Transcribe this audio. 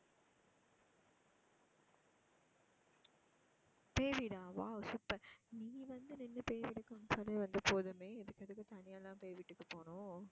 பேய் வீடா wow super நீ வந்து நின்னு பேய் வீடு காமிச்சாலே வந்து போதுமே இதுக்கு எதுக்கு தனியா எல்லாம் பேய் வீட்டுக்கு போகணும்.